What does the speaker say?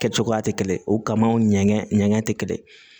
Kɛ cogoya tɛ kelen ye o kama o ɲɛgɛn ɲɛgɛn tɛ kelen